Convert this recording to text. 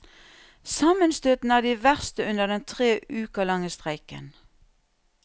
Sammenstøtene er de verste under den tre uker lange streiken.